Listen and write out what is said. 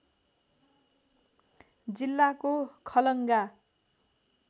जिल्लाको खलङ्गा